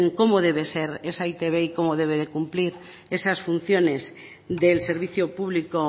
cómo debe ser esa e i te be y cómo debe de cumplir esas funciones del servicio público